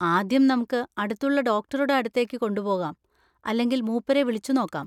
ആദ്യം നമുക്ക് അടുത്തുള്ള ഡോക്ടറുടെ അടുത്തേക്ക് കൊണ്ടുപോവാം, അല്ലെങ്കിൽ മൂപ്പരെ വിളിച്ചു നോക്കാം.